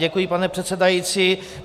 Děkuji, pane předsedající.